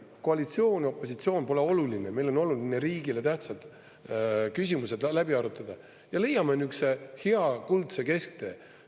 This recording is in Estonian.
Koalitsioon ja opositsioon pole oluline, meil on oluline riigile tähtsad küsimused läbi arutada, ja leiame nihukese hea, kuldse kesktee.